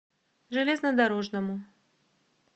железнодорожному